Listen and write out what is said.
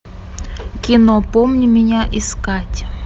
кино помни меня искать